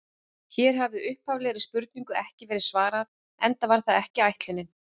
Hér hefur upphaflegri spurningu ekki verið svarað, enda var það ekki ætlunin.